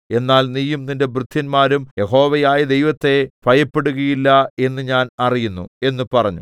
എന്നാൽ നീയും നിന്റെ ഭൃത്യന്മാരും യഹോവയായ ദൈവത്തെ ഭയപ്പെടുകയില്ല എന്ന് ഞാൻ അറിയുന്നു എന്ന് പറഞ്ഞു